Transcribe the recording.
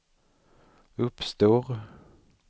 uppstår